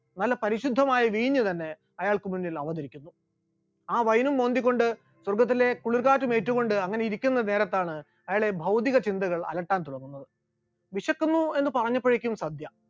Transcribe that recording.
നല്ല പരിശുദ്ധമായ വീഞ്ഞ് തന്നെ അയാൾക്ക് മുന്നിൽ അവതരിക്കുന്നു, ആ vine ഉം മോന്തിക്കൊണ്ട് സ്വർഗ്ഗത്തിലെ കുളിർകാറ്റ് ഏറ്റുകൊണ്ട് അങ്ങനെ ഇരിക്കുന്ന നേരത്താണ് അയാളെ ഭൗതിക ചിന്തകൾ അലട്ടാൻ തുടങ്ങുന്നത്, വിശക്കുന്നു എന്ന് പറഞ്ഞപ്പോയെക്കും സദ്യ,